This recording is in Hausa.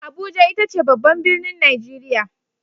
Abuja ita ce babban birnin Nigeria.